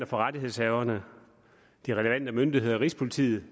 for rettighedshaverne de relevante myndigheder rigspolitiet